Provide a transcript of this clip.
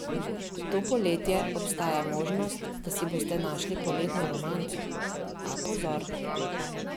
To poletje obstaja možnost, da si boste našli poletno romanco, a pozor!